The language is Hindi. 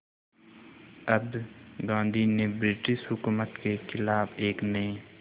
अब गांधी ने ब्रिटिश हुकूमत के ख़िलाफ़ एक नये